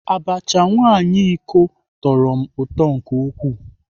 Abacha nwaanyị iko tọrọ m ụtọ nke ukwuu.